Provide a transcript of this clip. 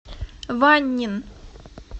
ваньнин